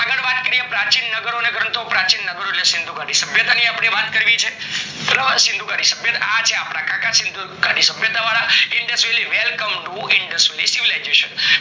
વાત કરીએ પ્રાચીન નગરો અને ગ્રંથો પ્રાચીન નગરો સિંધુ ગાડી સભ્યતા ની વાત કરવી છે સિંધુ ગાડી સભ્યતા આ છે અપડા કાકા સિંધુ ગાડી ની સભ્યતા વાળા welcomeindusvalley